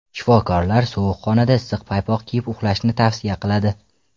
Shifokorlar sovuq xonada issiq paypoq kiyib uxlashni tavsiya qiladi.